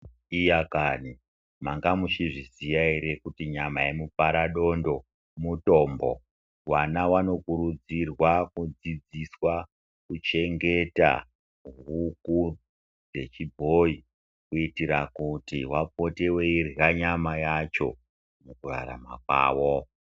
Iya kani manga muchizviziva ere kuti nyama yemuparadondo mutombo. Vana vanokurudzirwa kudzidziswa kuchengeta huku dzechibhoyi kuitira kuti vapote wairya nyama yacho mukurarama kwavo .